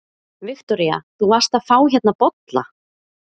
Viktoría: Þú varst að fá hérna bolla?